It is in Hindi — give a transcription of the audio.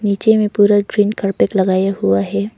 नीचे में पूरा ग्रीन कारपेट लगाया हुआ है।